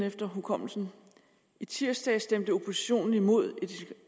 efter hukommelsen i tirsdags stemte oppositionen imod